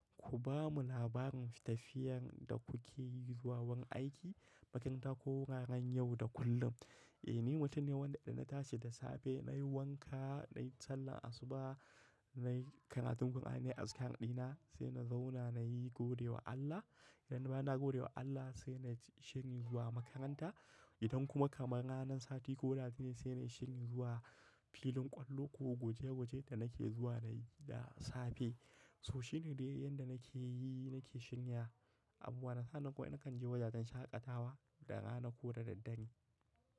Ku ba mu labarin tafiyar da kuke yi zuwa wurin aiki, baƙin ta ko wuraren yau da kullum. Eh ni mutum ne wanda ina tashi da safe nayi wanka nayi sallar asuba nayi karatun Qur'ani azkar ɗina sai na zauna nayi godewa Allah. Idan bayan na godewa Allah sai nayi shiri zuwa makaranta. Idan kuma kamar ranan sati ko ranar juma'a sai nayi shirin zuwa filin ƙwallo ko guje guje da nake zuwa da safe. So shine dai yanda nake yi nake shirin ya. A buwana sa nan kuma nakan je wajajen shaƙatawa da rana ko da daddare.